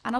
Ano.